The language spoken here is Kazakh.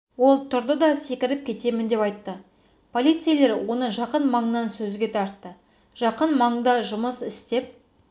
ол тұрды да секіріп кетемін деп айтты полицейлер оны жақын маңнан сөзге тартты жақын маңда жұмыс істеп